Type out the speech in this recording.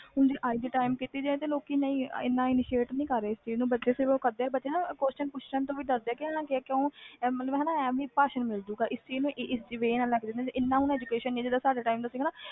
ਹੁਣ ਦੇ ਅਜ ਦੇ time ਵਿਚ ਦੇਖਿਆ ਜਾਵੇ ਇਹਨਾਂ initiate ਨਹੀਂ ਕਰ ਰਹੇ ਇਹਨੂੰ ਬੱਚੇ question ਪੁੱਛਣ ਤੋਂ ਵੀ ਡਰ ਦੇ ਨੇ ਐਵੇ ਕੋਈ ਭਾਸ਼ਣ ਮਿਲ ਜੋ ਜਾ